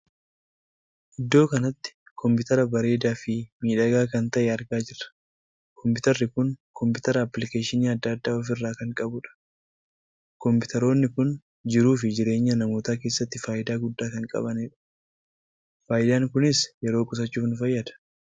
Iddoo kanatti kompiteera bareedaa Fi miidhagaa kan tahee argaa jirra. kompiteerri kun kompiteera appiliikeeshii addaa addaa ofii irraa kan qabuudha. kompiteerroli kun jiruu fi jireenya namootaa keessatti faayidaa guddaa kan qabuudha. faayidaan kunis yeroo qusachuuf nu fayyada.